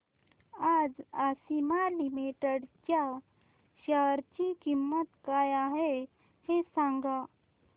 आज आशिमा लिमिटेड च्या शेअर ची किंमत काय आहे हे सांगा